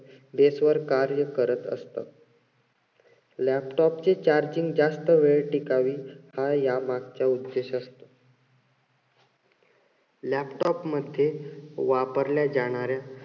कार्य करत असतात. laptop चे charging जास्त वेळ टिकावे हा यामागचा उद्देश असतो. laptop मध्ये वापरल्या जाणाऱ्या,